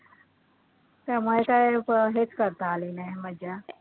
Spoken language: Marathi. त्यामुळे काय हेच करता नाही आली मजा